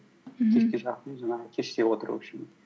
мхм кешке жақын жаңағы кеште отыру үшін